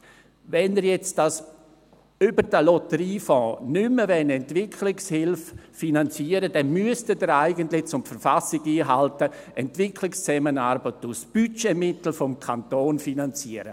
Wenn Sie jetzt über den Lotteriefonds nicht mehr Entwicklungshilfe finanzieren wollen, dann müssten Sie eigentlich, um die Verfassung einzuhalten, die Entwicklungszusammenarbeit aus Budgetmitteln des Kantons finanzieren.